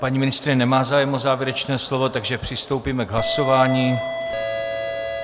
Paní ministryně nemá zájem o závěrečné slovo, takže přistoupíme k hlasování.